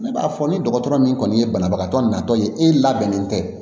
Ne b'a fɔ ni dɔgɔtɔrɔ min kɔni ye banabagatɔ natɔ ye e labɛnnen tɛ